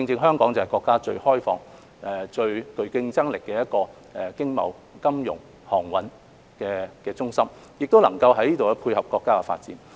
香港正是國家最開放、最具競爭力的經貿、金融及航運中心，能夠從中配合國家發展。